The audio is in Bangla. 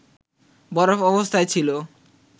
বরফ অবস্থায় ছিল